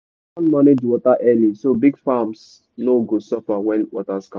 plan manage water early so big farms no go suffer when water scarce